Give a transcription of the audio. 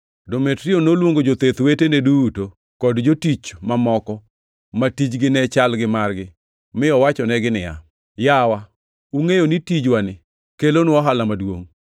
Demetrio noluongo jotheth wetene duto, kod jotich mamoko ma tijgi ne chal gi margi, mi owachonegi niya, “Yawa, ungʼeyo ni tijwani kelonwa ohala maduongʼ.